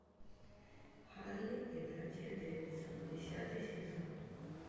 харли и братья дэвидсон десятый сезон